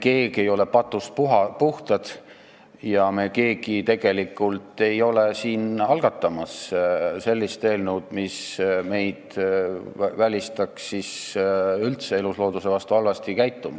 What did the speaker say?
Me keegi ei ole patust puhtad ja me keegi tegelikult ei ole siin algatamas sellist eelnõu, mis välistaks üldse elusloodusega halvasti käitumise.